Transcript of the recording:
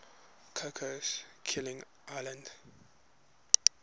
cocos keeling islands